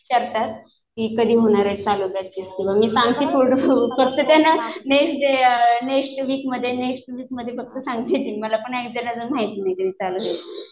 करतात, कधी होणार आहे चालू मी सांगते मेन जे नेक्स्ट वीक मध्ये नेक्स्ट वीक मध्ये सांगतेयत मला पण अजून माहित नाही